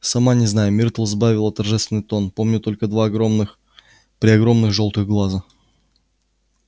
сама не знаю миртл сбавила торжественный тон помню только два огромных-преогромных жёлтых глаза